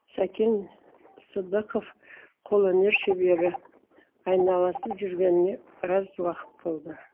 сәкен сыдықов қолөнер шебері айналасып жүргеніне біраз уақыт болды